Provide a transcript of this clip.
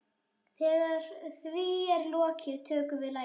Þegar því er lokið tökum við lagið.